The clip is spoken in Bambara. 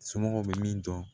Somɔgɔw bɛ min dɔn